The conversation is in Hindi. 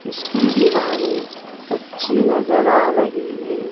इसकी दीवारें कच्ची नजर आ रही है।